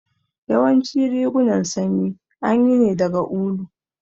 Yawancin rigunan sanyi anyi ne daga ulu